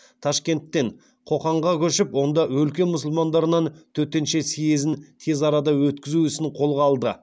ташкенттен қоқанға көшіп онда өлке мұсылмандарының төтенше съезін тез арада өткізу ісін қолға алды